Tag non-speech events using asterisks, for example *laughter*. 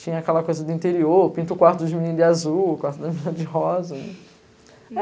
Tinha aquela coisa do interior, eu pinto o quarto dos meninos de azul, o quarto das meninas de rosa. *laughs*